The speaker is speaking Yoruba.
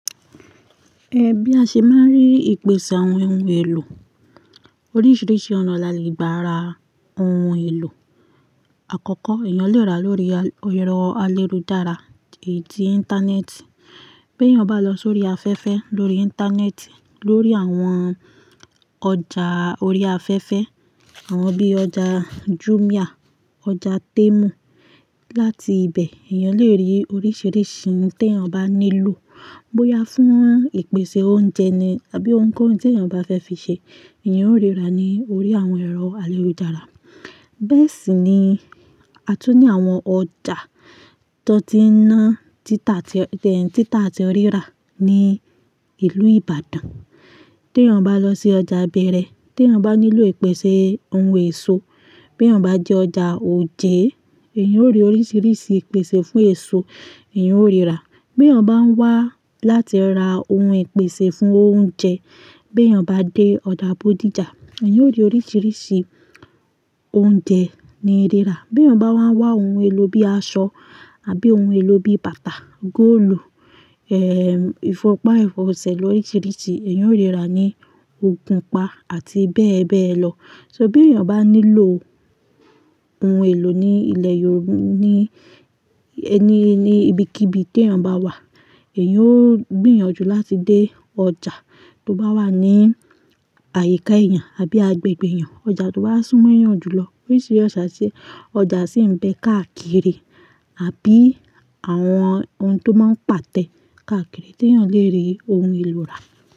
Ẹ bí a ṣe máa ń rí ìpèsè àwọn ohun èlò. Oríṣiríṣi ọ̀nà la le gba ra ohun èlò. Àkọ́kọ́, èèyàn le rà lórí ẹ̀rọ ayélujára èyíí tí íńtánẹ́ẹ̀tì. Bí èèyàn bá lọ sórí afẹ́fẹ́ lórí íńtánẹ́ẹ̀tì, lórí àwọn ọjà orí afẹ́fẹ́, àwọn bí ọjà Jumia, ọjà Temu, láti ibẹ̀, èèyàn le rí oríṣiríṣi ohun tí èèyàn bá nílò. Bo ya fún ìpèsè oúnjẹ ni àbí ohun kóhun tí èèyàn bá fẹ́ fi ṣe, èèyàn ó ríra ní orí àwọn ẹ̀rọ ayélujára. Bẹ́ẹ̀ sì ni, a tún ní àwọn ọjà tí wọ́n ti ń ná títà àti títà àti ríra ní ìlú Ìbàdàn. Tí èèyàn bá lọ sí ọjà beere, tí èèyàn bá nílò ìpèsè ohun èso, bí èèyàn bá dé ọjà oje, èèyàn ó rí oríṣiríṣi ìpèsè fún èso èèyàn ó ríra. Bí èèyàn bá ń wá láti ra ohun ìpèsè fún oúnjẹ, bí èèyàn bá dé ọjà Bodija, èèyàn ó rí oríṣiríṣi oúnjẹ ni ríra. Bí èèyàn bá wá wá ohun èlò bí aṣọ àbí ohun èlò bí bàtà, góólù, eh, ìfọ́pá, ìfọsẹ̀ lóriṣiríṣi, èèyàn ó ríra ní Ògùnpa àti bẹ́ẹ̀ bẹ́ẹ̀ lọ. So bí èèyàn bá nílò ohun èlò ní ilẹ̀ yòó ní ẹni ní ibikíbi tí èèyàn bá wà, èèyàn ó gbìyànjú láti dé ọjà tó bá wà ní àyíká èèyàn àbí agbègbè èèyàn. Ọjà tó bá súnmọ́ èèyàn jùlọ. Ó rí ṣe yàrá sí, ọjà sì ń bẹ káàkiri àbí àwọn oun tó máa ń pàtẹ káàkiri tí èèyàn le rí ohun èlò rà.